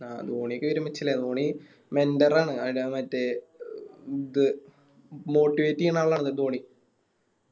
ധോണിക്കെ Dhoni Member ആണ് ആട മറ്റേ ഇത് Motivate ചെയ്യണ ആളാണ് ധോണി